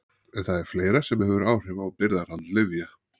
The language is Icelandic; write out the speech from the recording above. En það er fleira sem hefur áhrif á birgðahald lyfja.